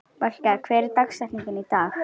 Valka, hver er dagsetningin í dag?